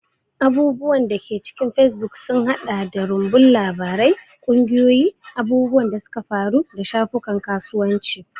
Abubuwan da ke cikin facebook sun haɗa da rumbun labarai, ƙungiyoyi, abubuwan da suka faru, da shafukan kasuwanci.